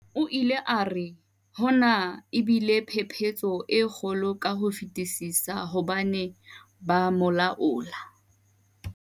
O ile a re, hona e bile phephetso e kgolo ka ho fetisisa hobane ho ba molaola.